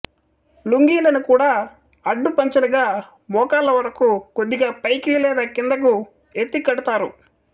లుంగీలను కూడా అడ్డపంచెలుగా మోకాళ్ళ వరకు కొద్దిగా పైకి లేదా క్రిందకు ఎత్తి కడతారు